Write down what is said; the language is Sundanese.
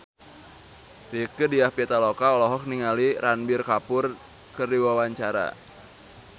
Rieke Diah Pitaloka olohok ningali Ranbir Kapoor keur diwawancara